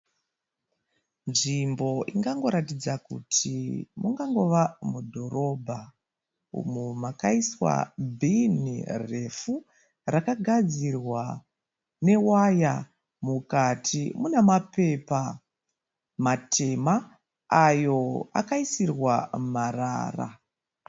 Nzvimbo ingangoratidza kuti mungava mudhorabha umo makaiswa bhini refu rakagadzirwa newaya rinemapepa matema akaisirwa marara.